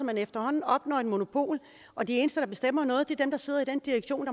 man efterhånden opnår et monopol og de eneste der bestemmer noget er dem der sidder i den direktion